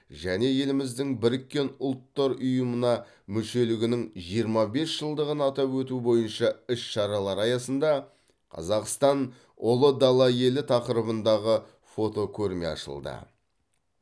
еліміздің біріккен ұлттар ұйымына мүшелігінің жиырма бес жылдығын атап өту бойынша іс шаралар аясында қазақстан ұлы дала елі тақырыбындағы фотокөрме ашылды